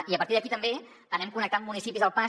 i a partir d’aquí també anem connectant municipis al pas